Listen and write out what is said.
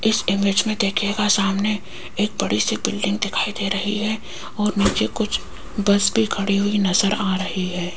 इस इमेज मे देखियेगा सामने एक बड़ी सी बिल्डिंग दिखाई दे रही है और नीचे कुछ बस भी खड़ी हुई नज़र आ रही है।